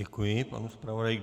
Děkuji panu zpravodaji.